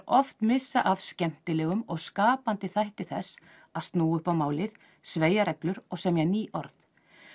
oft missa af skemmtilegum og skapandi þætti þess að snúa upp á málið sveigja reglur og semja ný orð